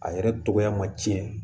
A yɛrɛ tɔgɔya ma tiɲɛ